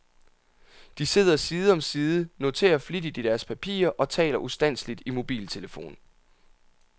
De sidder side om side, noterer flittigt i deres papirer og taler ustandseligt i mobiltelefon.